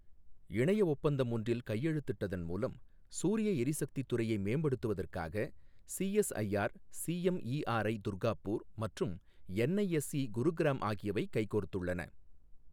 இணைய ஒப்பந்தம் ஒன்றில் கையெழுத்திட்டதன் மூலம் சூரிய எரிசக்தித் துறையை மேம்படுத்துவதற்காக சிஎஸ்ஐஆர் சிஎம்இஆர்ஐ, துர்காப்பூர் மற்றும் என்ஐஎஸ்ஈ, குருகிராம் ஆகியவை கைகோர்த்துள்ளன.